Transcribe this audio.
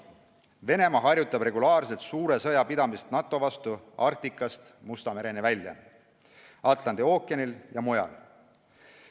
Venemaa harjutab regulaarselt suure sõja pidamist NATO vastu Arktikast Musta mereni välja, Atlandi ookeanil ja mujal.